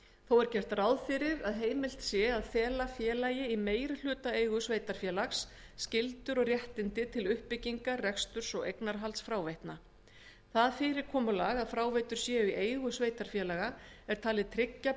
þó er gert ráð fyrir að heimilt sé að fela félagi í meirihlutaeigu sveitarfélaga skyldur og réttindi til uppbyggingar reksturs og eignarhalds fráveitna það fyrirkomulag að fráveitur séu í eigu sveitarfélaga er talið tryggja